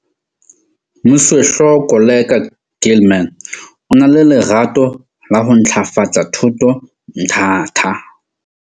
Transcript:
Moswehlooho Koleka Gilman o na le lerato la ho ntlafatsa thuto Mthatha.